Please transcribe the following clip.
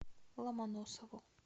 ломоносову